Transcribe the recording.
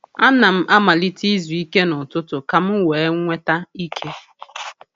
A na m amalite izu ike n’ututu ka m wee nweta ike.